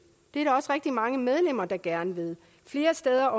er der også rigtig mange medlemmer der gerne vil flere steder